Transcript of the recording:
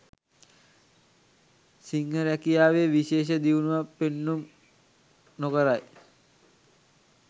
සිංහ රැකියාවේ විශේෂ දියුණුවක් පෙන්නුම් නොකරයි.